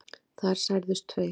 Þar særðust tveir